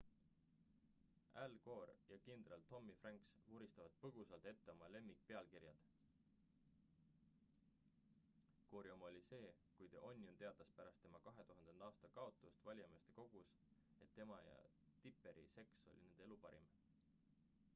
al gore ja kindral tommy franks vuristavad põgusalt ette oma lemmikpealkirjad gore’i oma oli see kui the onion teatas pärast tema 2000. aasta kaotust valijameeste kogus et tema ja tipperi seks oli nende elu parim